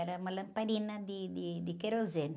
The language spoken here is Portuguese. Era uma lamparina de, de, de querosene.